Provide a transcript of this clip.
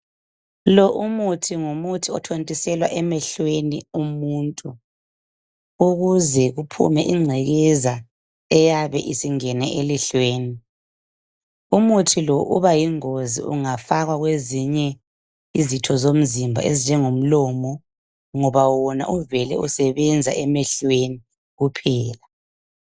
Lo umuthi ngumuthi othontiselwa emehlweni womuntu, ukuze kuphume ingcekeza eyabe isingene elihlweni . Umutji lo ungaba yingozi nxa ungafakwa kwezinye izitho zomzimba ezinjengomlomo ngoba wona uvele isebenza emehlweni kuphela.